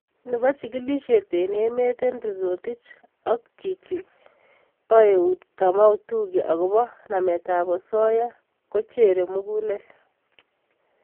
Nebo chigilisiet eng emet Henry rotich ak chinyi bo eut kamau thugge agobo nametab osoya kocherei mugulel